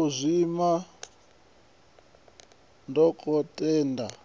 u zwima dokotelakha